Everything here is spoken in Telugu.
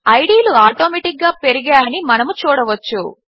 ఐడీ లు ఆటోమాటిక్గా పెరిగాయని మనము చూడవచ్చు